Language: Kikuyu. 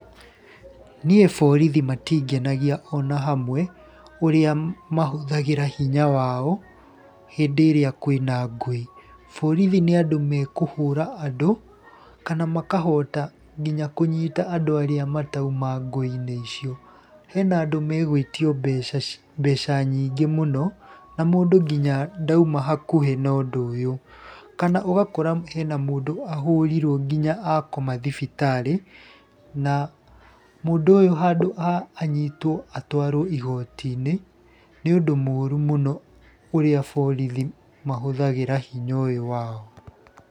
Niĩ borithi matingenagia ona hamwe, ũrĩa mahũthagĩra hinya wao hĩndĩ ĩrĩa kwĩna ngũĩ. Borithi nĩ andũ mekũhũra andũ, kana makahota nginya kũnyita andũ arĩa matauma ngũĩ-inĩ icio. Hena andũ megwĩtio mbeca nyingĩ mũno, na mũndũ nginya ndauma hakuhĩ na ũndũ ũyũ. Kana ũgakora hena mũndũ ahũrirwo nginya akoma thibitarĩ na mũndũ ũyũhandũ ha anyitwo atwaro igoti-inĩ. nĩ ũndũ mũru mũno urĩa borithi mahũthagĩra hinya ũyũ wao.